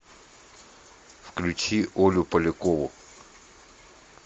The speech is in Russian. включи олю полякову